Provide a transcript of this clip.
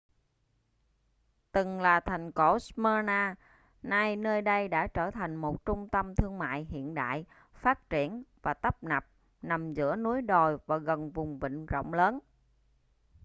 từng là thành cổ smyrna nay nơi đây đã trở thành một trung tâm thương mại hiện đại phát triển và tấp nập nằm giữa núi đồi và gần vùng vịnh rộng lớn